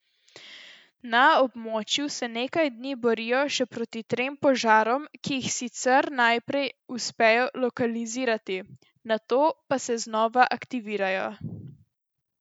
Na območju se nekaj dni borijo še proti trem požarom, ki jih sicer najprej uspejo lokalizirati, nato pa se znova aktivirajo.